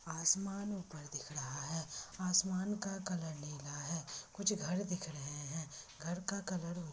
आसमान ऊपर दिख रहा है आसमान का कलर नीला है मुझे घर दिख रहे है घर का कलर --